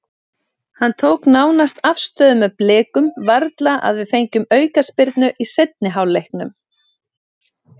Hann tók nánast afstöðu með Blikum, varla að við fengjum aukaspyrnu í seinni hálfleiknum.